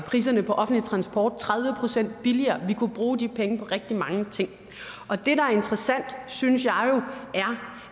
priserne på offentlig transport tredive procent billigere vi kunne bruge de penge på rigtig mange ting det der er interessant synes jeg er